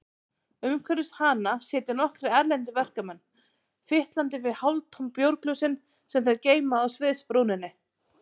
Umhverfis hana sitja nokkrir erlendir verkamenn, fitlandi við hálftóm bjórglösin sem þeir geyma á sviðsbrúninni.